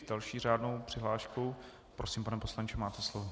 S další řádnou přihláškou - prosím, pane poslanče, máte slovo.